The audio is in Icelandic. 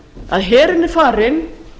að herinn er farinn